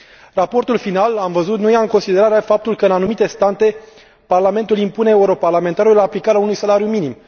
Raportul final, am văzut, nu ia în considerare faptul că, în anumite state, parlamentul impune europarlamentarilor aplicarea unui salariu minim.